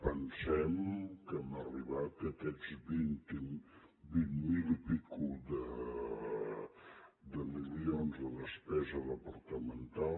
pensem que hem arribat a aquests vint miler milions i escaig de despesa departamental